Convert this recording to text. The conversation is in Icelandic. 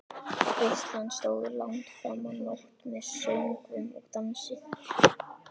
Veislan stóð langt fram á nótt með söngvum og dansi.